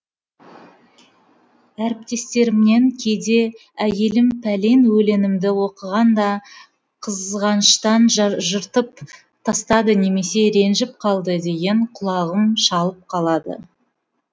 әріптестерімнен кейде әйелім пәлен өлеңімді оқығанда қызғаныштан жыртып тастады немесе ренжіп қалды дегенді құлағым шалып қалады